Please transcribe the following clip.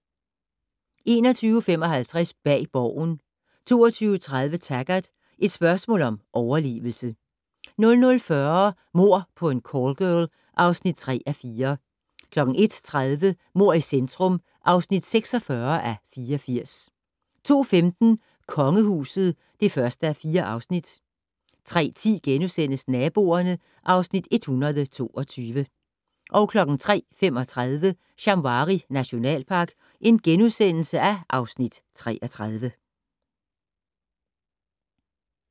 21:55: Bag Borgen 22:30: Taggart: Et spørgsmål om overlevelse 00:40: Mord på en callgirl (3:4) 01:30: Mord i centrum (46:84) 02:15: Kongehuset (1:4) 03:10: Naboerne (Afs. 122)* 03:35: Shamwari nationalpark (Afs. 33)*